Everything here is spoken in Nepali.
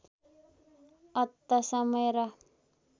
अत समय र